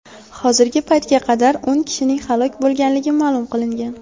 Hozirgi paytga qadar o‘n kishining halok bo‘lganligi ma’lum qilingan.